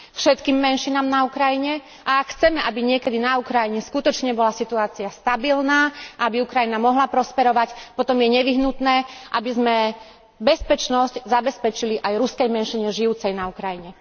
Všetkým menšinám na Ukrajine a ak chceme, aby niekedy na Ukrajine skutočne bola situácia stabilná, aby Ukrajina mohla prosperovať, potom je nevyhnutné, aby sme bezpečnosť zabezpečili aj ruskej menšine žijúcej na Ukrajine.